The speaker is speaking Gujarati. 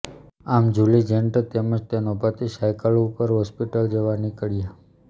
આમ જુલી જેન્ટર તેમજ તેનો પતિ સાઇકલ ઉપર હોસ્પિટલ જવા નીકળ્યા